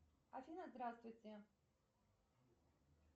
афина здравствуйте